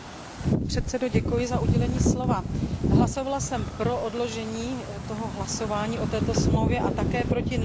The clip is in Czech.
Hlasovala jsem pro odložení hlasování o smlouvě a také proti návrhu na zamítnutí její ratifikace.